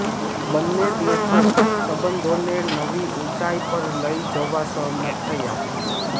બંને દેશો સંબંધોને નવી ઉંચાઈ પર લઈ જવા સહમત થયા